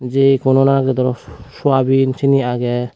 jeykuno nangodor suaben seyani agey.